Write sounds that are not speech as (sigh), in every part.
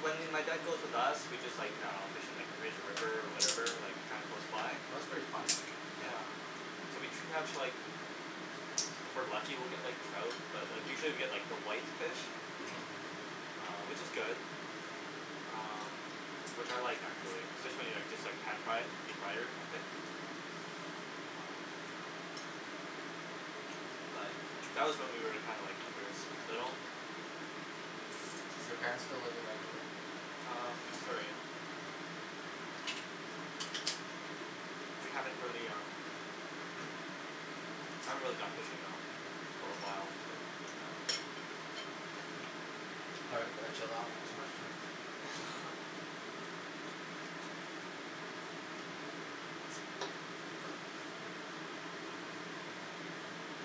when m- my dad goes with us, we just like, I dunno, just fish in like the Fraser River, whatever, like kinda close Oh by? that's pretty fun. Yeah, so we catch like, if we're lucky we get like trout, but like usually we get like the white fish Mhm which is good. Um, which I like actually. Especially when you like just like pan fry it or deep fry it or something? But, that was when we were like kinda like when we were s- little. Do your parents still live in Vancouver? Um, Surrey. We haven't really um (noise) I haven't really gone fishing though, for a while, but it's fine. All right gonna chill out. Too much food. (laughs)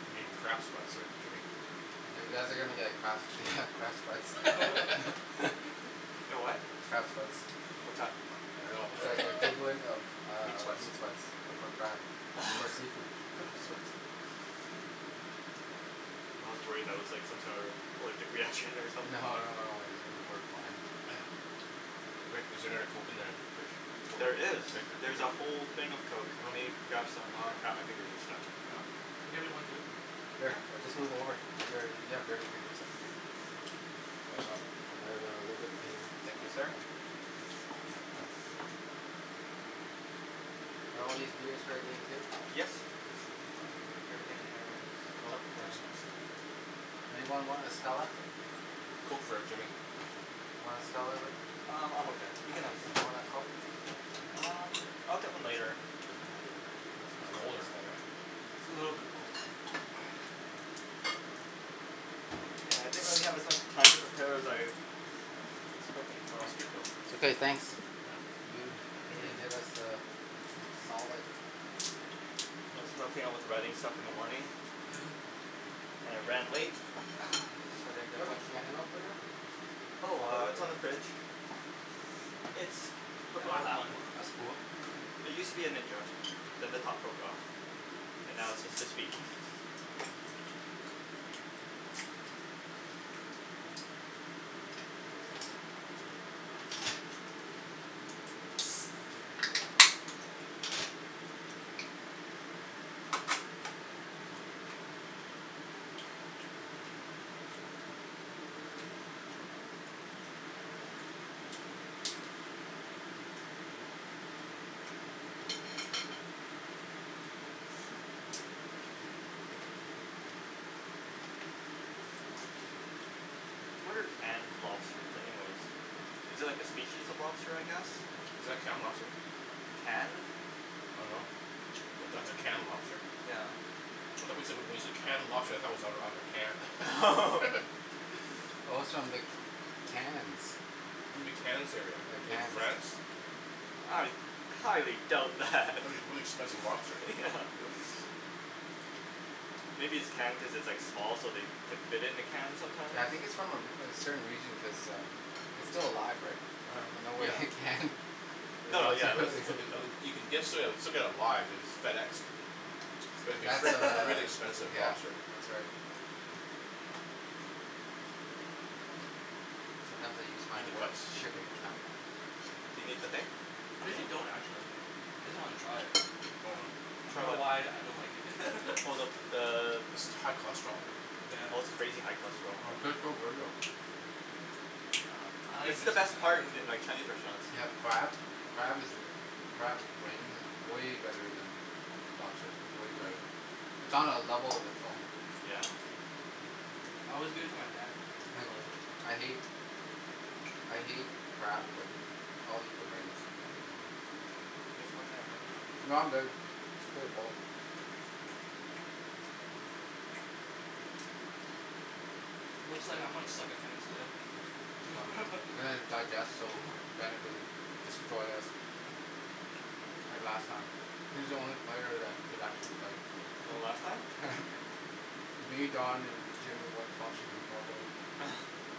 I'm getting crab sweats here, Jimmy. You guys are gonna get crap (laughs) crab sweats (noise) (laughs) Get what? Crab sweats. What's that? I dunno It's like the (laughs) equivalent of Meat um sweats meat sweats but for crab. (laughs) For seafood. meat sweats. I was worried that was like some sort of allergic reaction or No something. no no worries, we're fine. (noise) Rick, is there another Coke in the fridge? There is, there's a whole thing of Coke, let me grab some, aw (inaudible) crap, my fingers are stuck. Oh, can you get me one too? Sure, I'll just move over, you a- you have dirty fingers. Thanks Al I have a little bit cleaner Thank you so sir. Are all these beers for our game too? Yes. Anything in there is Oh. up for Anyone want a Stella? Coke for Jimmy. You wanna Stella Rick? Um I'm okay, you can have Want a Coke? Um I'll get one later. It's colder in there right? It's a little bit cold. Yeah I didn't really have a chance to prep- prepare better. Okay. Okay thanks. You really (noise) did us a solid. I was helping with the writing stuff in the morning. (noise) And it ran late. Is there a can opener? Oh it's on the fridge. It's the black one. That's cool. It used to be a ninja. Then the top broke off. And now it's just his feet. What are canned lobsters anyways? Is it like a species of lobster I guess? Is that canned lobster? Canned. I don't know. That's a canned lobster? Yeah. I though wen- when you said canned lobster I though it was out- Oh. Oh. outta (laughs) a (laughs) can. Oh it's from the Cannes. You mean the Cannes area, The in Cannes. France? I highly doubt that. That would be really expensive lobster. Yeah. (laughs) (noise) Maybe it's canned because it's like small so they can fit in a can sometimes. Yeah I think its from a re- a certain region cuz um its still alive, Oh. no Yeah. way it canned. No yeah it's uh (inaudible) (noise) You can ge- still get it live, you know, it's FedExed. Is And would be that's still uh, really (laughs) expensive yeah, lobster. that's right. Sometimes I use my work's shipping account. Do you need the thing? Cuz you don't actually I just wanna try it. Hold on. I For don't know what? why I don't like it. Oh the (laughs) the High cholesterol. Oh it's crazy high cholesterol. It's the best (inaudible) part in like Chinese restaurants. They have crab, crab is crab's brains is way better then lobster, way better. (noise) It's on a level of its own. Yeah. I always give it to my dad he loves it. I hate I hate crab but I'll eat the brains. No I'm good, pretty full. Looks like I'm gonna suck at tennis there. (laughs) (inaudible) digest so Bennet doesn't destroy us like last time he's the only player that could actually play. Oh last time? Yeah. Me, Don and Jimmy weren't functioning properly. (laughs)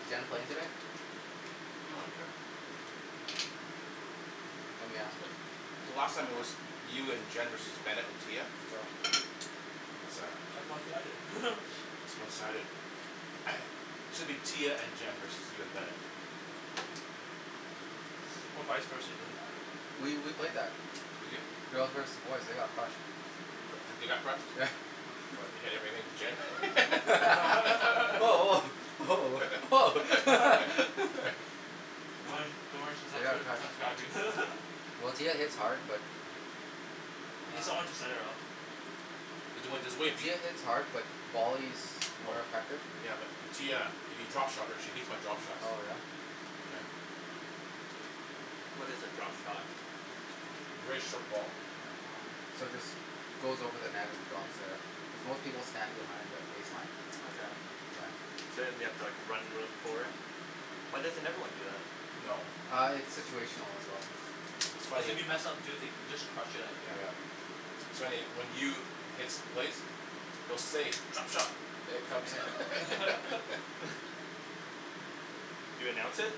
Is Jen playing today? Lemme ask her. So last time it was you and Jen versus Bennet and Tia? Yeah. That's one sided. (laughs) It's one sided. (noise) Shoulda been Tia and Jen versus you and Bennett. Or vise versa doesn't matter. We we play better. You did? Girls versus boys they got crushed. They they got crushed? What your (inaudible) Jen. (laughs) woah Oh (laughs) Oh woah, woah oh (laughs) (laughs) Don't worry don't worry she's Oh not yeah ca- (inaudible) Well Tia hits hard but Oh She's need someone to Ah set it up. There's there's a way. Tia hits hard but volleys more More. effective. Yeah but Tia you drop shot her she hates my drop shots. Oh yeah. What is a drop shot? Really short ball. Yeah. So it just goes over the net and drops there. Most people stand behind the baseline. Okay. Yeah. So then you have to like run real forward? Yeah. Why doesn't everyone do that? No. Ah it's situational as well. It's Cuz funny. if you mess up too they just crushed it outta Yeah. your Yeah. air. So anyway when you hits place you'll say "drop shot". (noise) You announce it?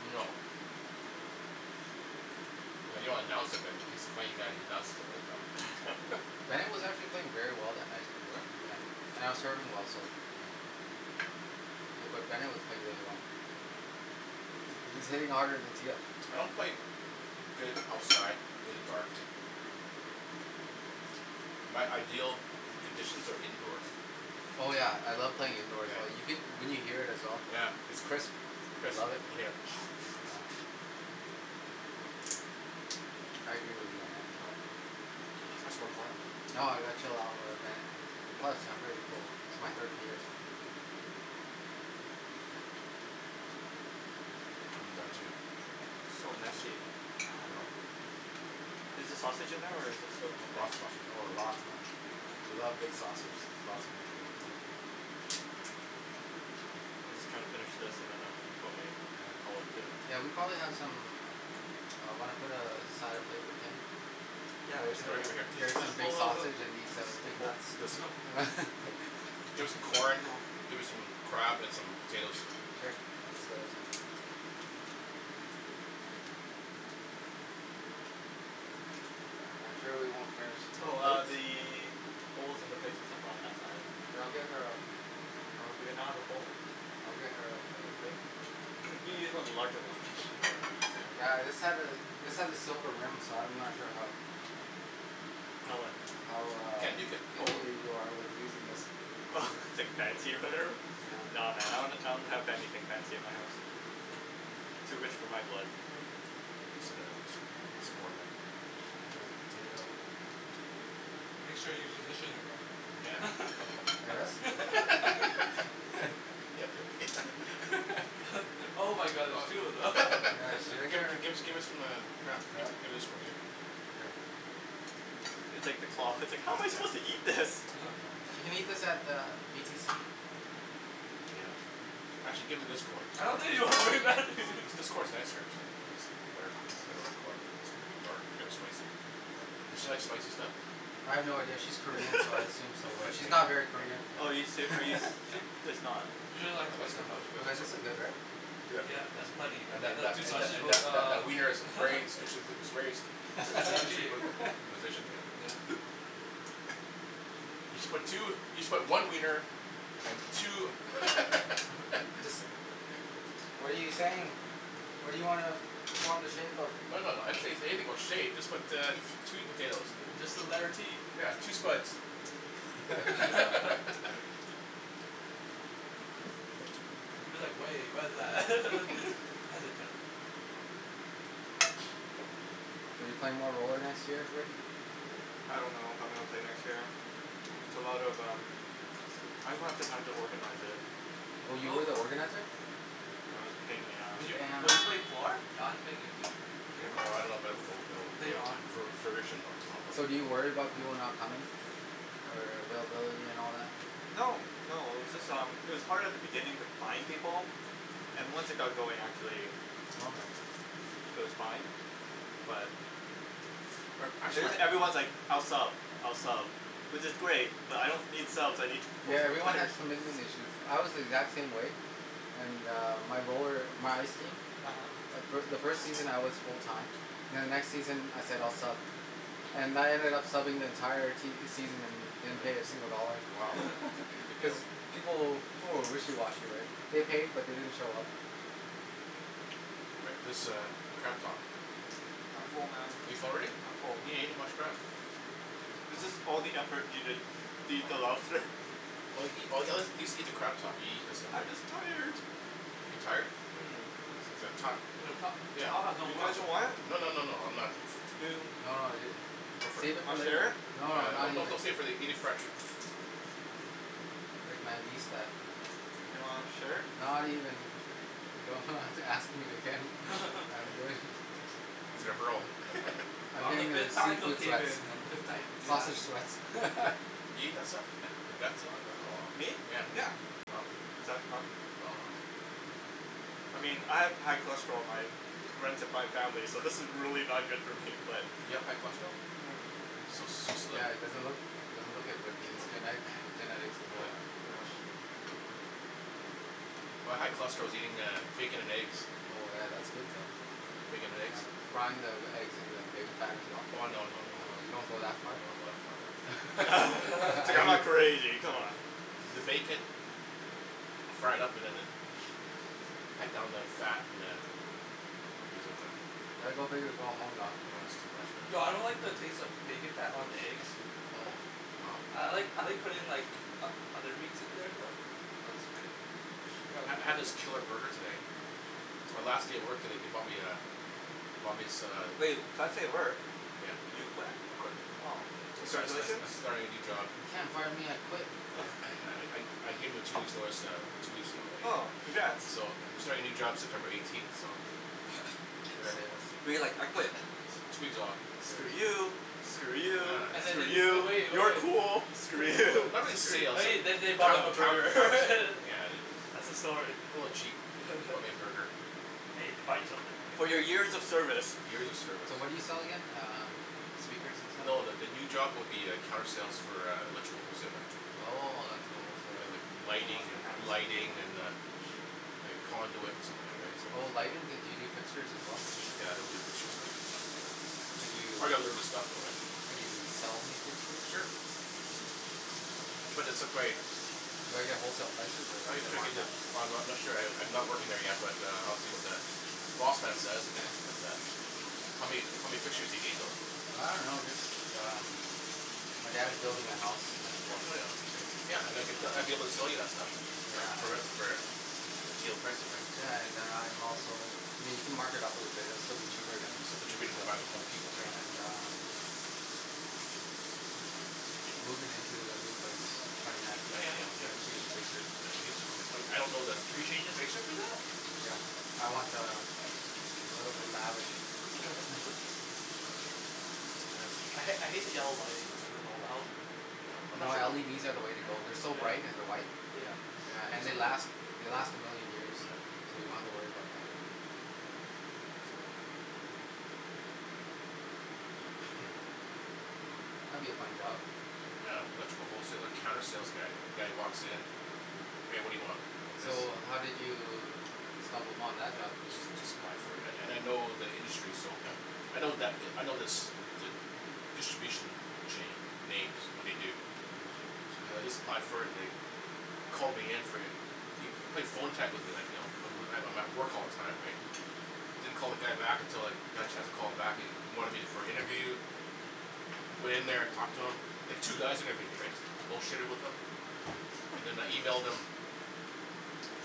No. No you don't announce it but he's a funny guy he announces it right. (laughs) Bennet was actually playing very well that night, Oh yeah. yeah, and I was serving well so. Hmm Bu- but Bennet was playing really well. He he was hitting harder then Tia. I don't play good outside in the dark. My ideal conditions are indoors. Oh yeah I love playing indoors well you can you can hear it as well. Yeah, yeah. I Chris love it. yup. Yeah. I agree with you on that. No. Ca- have some more corn? No (inaudible) or ah Bennet. Plus I'm pretty cold my third year. (noise) (noise) I'm done too. So messy. I know. Is the sausage in there or is it in the thing? Lots of sausage. Oh lots man. You love big sausage, lots in there. Oh. I'm just gonna finish this and then I'm probably Yeah. gonna call it. (inaudible) Yeah we probably have some. Ah wanna put a a side of plate for Kim? Yeah Get her we could some do b- that. (laughs) get her some big Ho- ho- sausage and hold. these uh The big whole nuts. There's This one. som- (laughs) There's some corn, there some crab and some potatoes. I'm sure we won't finish. Oh ah (inaudible) the bowls and the plates and stuff are on that side. We'll get her a Oh do we not have a bowl? Oh okay. (noise) you can use one of the larger ones it'll be probably easier. Yeah this has a this has a silver rim so I'm not sure how. How what? (noise) How You ah can't nuke it. Oh picky wha- you are with using this. Hmm Oh like (inaudible) or whatever? Nah man I don- don't that have anything fancy in my house. Too rich for my blood. What's the matter a piece a piece of corn there. Make sure you position it right. (inaudible) us. (laughs) (laughs) (laughs) Yeah can just can I Give get her her. give her some um crab Yeah. give this one too. Okay. It's like the claw, it's I like "how am I suppose to can't. eat this"? She can eat this at the BTC. Yeah. Actually give her this corn. I don't (inaudible) think (inaudible) (laughs) This corn's nicer actually or good looking corn pretty dark here's spicy. Does she like spicy stuff? I have no idea, she's Korean so I (laughs) assume so Oh yeah but she's not very Korean. Oh are you she's (inaudible) seri- are you ser- (laughs) it's not. You don't like spice that much. Well like (inaudible) this is good right? Yup, that's plenty And and then that those that two that sausages and that that uh that wiener is very (inaudible) (laughs) is very strategically (laughs) (laughs) positioned. Yeah. You should but two you should put one wiener and two. What are you saying? What do you wanna form the shape of? No no no I didn't say anything about shape just put uh two potatoes. Just the letter T. Yeah two spuds. (laughs) You're like way what's that (laughs) hesitant. Are you playing more roller next year Rick? I don't know if I'm gonna play next year. It's a lot of um. I just don't have the time to organize it. Oh you were the organizer? No it was a pain in the Would ass. you would you play four Don's making a team. Hum? Oh I love o o o Later on. o o furnishing them. So do you worry about (inaudible) people not coming? Or uh availability and all that? No, no, it was just um it was hard at the beginning to find people and once Hmm it got going actually Oh okay. it was fine. But But It actually jus- everyone's like I'll sub I'll sub which is great but I don't need subs I need pa- Yeah everyone players. has commitment issues, I was the exact same way. And uh my roller my ice team. uh-huh The fi- the first season I was full time. Then the next season I said I'll sub. And I ended up subbing the entire season. (inaudible) Yeah, wow, (noise) (laughs) good deal. People will people were wishy washy right. They paid uh-huh but they didn't show up. Rick this uh crab top. I'm full man, Are you full already? I'm full. You didn't each much crab. This is all the effort we did to eat the Oh. lobster. Or eat a at least eat the crab top you eat this stuff? I'm just tired. You're tired? um (inaudible) The Yeah. top has no (inaudible) You no no guys don't want it? No no no no no I'm I'm not. not. You No no ju- Go for it. Save it for Wanna share later. it? No No no not no even. don't save it eat it fresh. Rick man beast that. Do you wanna share it? Not even. You don't ha- (laughs) have to ask me again (laughs) I'm good. He's gonna hurl. I'm getting uh (inaudible) seafood sweats. complicated. Sausage sweats. (laughs) Me? Yeah. Is that not I mean I have high cholesterol, my runs in my family so this is really not good for me but You have high cholesterol? Hmm You so so slim. Yeah it doesn't look doesn't look it but i- its uh-huh. genetic. Oh. No. My high cholesterol is eating uh bacon and eggs. Bacon and eggs. Frying the eggs in the bacon fat as well? Oh no no no. You don't go that No I far? don't (laughs) go Dude that far man. I'm (laughs) not (inaudible) anything come on. You gotta go big or go home Don. Nah that's too much man. No I don't like the taste of bacon fat on the eggs. I like I like putting in like o- other meats in there though. I ha- had this killer burger today. It's my last day at work today they bumped me uh they bumped as- uh Hey, last day at work. Yeah. You quit? I quit. Oh. I sta- sta- Congratulations. I starting a new job. Uh No (noise) I I I gave em a two weeks notice that I'm two weeks ago Oh right. congrats. So I'm starting a new job September eighteenth but like So We're you're you like like I "I quit. quit"? two weeks off. So Screw yay. you. For Screw you, real, And then for screw they Yeah (inaudible) you, you. so cool. (inaudible) Screw Screw you. you. (laughs) (laughs) (laughs) (inaudible) and (inaudible) then they bought him Oh. a burger (laughs) Yeah. That's the story. A little chap bought me a (laughs) burger. Hey they bought you something ri- For For your your years years of of service. service. Years of So what service. do you sell again? um speakers and No the the new stuff. job would be uh counter sale for uh electrical wholesaling. Oh electrical whole Yeah like seller. lighting an- lighting and uh Like conduit and stuff like that so. Oh lighting do yo- do you do fixtures as well? Yeah they'll do fixture and that. Could you? I gotta learn the stuff though right? Could you sell me fixtures? Sure. But it's just like. Do I get wholesale prices or I gotta do you check it markup? yet. Oh I I'm not sure I I'm not working there yet but uh I'll see what the prospects says but uh How many how many fixtures do you need though? I don't know just um my dad's building a house that's Oh it. yeah yeah okay. Yeah I'd get I'd be able to Um sell you that stuff. Yeah I For a would. for a deal pricing right so. Yeah and uh I'm also I mean you can mark it up a little bit it will still be cheaper then still be cheaper than buy at HomeDepot right and uh moving into a new place twenty ninth of Yeah yeah April I'm yeah, gonna yeah change the fixtures. easier. I I don't that Can yo- your fixtures do that? Yeah I want uh a little bit lavish. (laughs) I ha- I hate the yellow lighting. Yeah. No LEDs are the way to go they're so Yeah. light and they're white. Yeah. Yeah and they last. They last a million years Yeah. so you don't have to worry about them. (noise) That'll be a fun job. Yeah electrical wholesaler counter sales guy the guys who walks in hey what do you want? (inaudible) So how did you stumble upon that job? I just just applied for it and and I know the industry so (noise) I know that I know this the the distribution chain names what they do so then I just applied for it and they called me in for an they they played phone tag with me like you know I I'm at work all the time right I don't call the guy back until like I got a chance to call him back he he wanted me for an interview went in there talked to him there's two guys that interviewed me right just bull shitted with them and (laughs) then I emailed them.